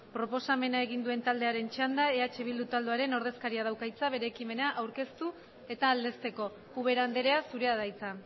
proposamena egin duen taldearen txanda eh bildu taldearen ordezkariak dauka hitza bere ekimena aurkeztu eta aldezteko ubera andrea zurea da hitza